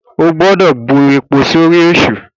O kò gbọ́dọ̀ bu epo sórí èṣù!